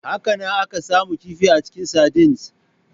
Hakanan, ana samun kifi a cikin sardines.